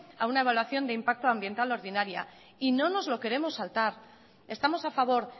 a una evaluación de impacto ambiental ordinaria y no nos lo queremos saltar estamos a favor